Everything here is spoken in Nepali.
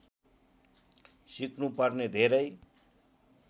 सिक्नुपर्ने धेरै